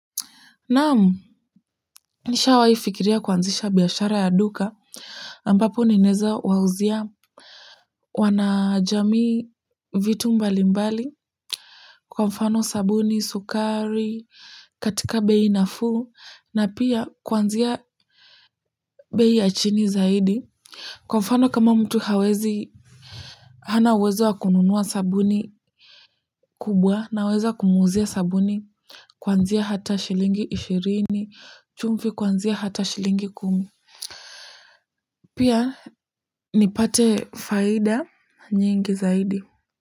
Naam, nishawahi fikiria kuanzisha biashara ya duka, ambapo ninaeza wauzia wanajamii vitu mbalimbali, kwa mfano sabuni, sukari, katika bei nafuu, na pia kuanzia bei ya chini zaidi kwa mfano kama mtu hawezi, hana wezo wa kununua sabuni kubwa naweza kumuuzia sabuni kuanzia hata shilingi ishirini, chumvi kuanzia hata shilingi kumi. Pia nipate faida nyingi zaidi.